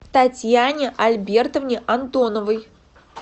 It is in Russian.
татьяне альбертовне антоновой